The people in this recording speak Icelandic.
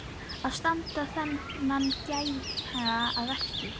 Að standa þennan gæja að verki!